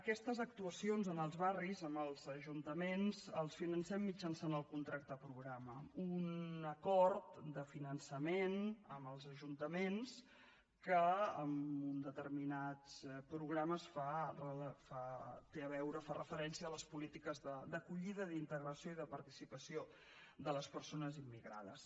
aquestes actuacions en els barris en els ajuntaments les financem mitjançant el contracte programa un acord de finançament amb els ajuntaments que en uns determinats programes fa referència a les polítiques d’acollida d’integració i de participació de les persones immigrades